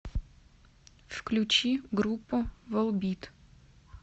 включи группу волбит